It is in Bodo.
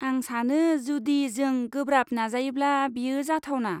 आं सानो जुदि जों गोब्राब नाजायोब्ला बेयो जाथावना।